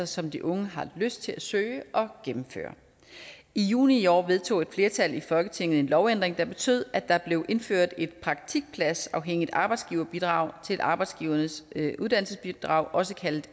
som de unge har lyst til at søge og gennemføre i juni i år vedtog et flertal i folketinget en lovændring der betød at der blev indført et praktikpladsafhængigt arbejdsgiverbidrag arbejdsgivernes uddannelsesbidrag også kaldet